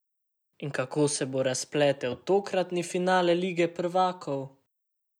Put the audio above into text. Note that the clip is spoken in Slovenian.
In kako se bo razpletel tokratni finale Lige prvakov?